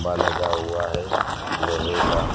लगा हुआ है लोहे का।